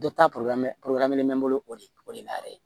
Dɔ ta bɛ n bolo o de o de la yɛrɛ